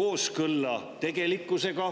kooskõlla tegelikkusega.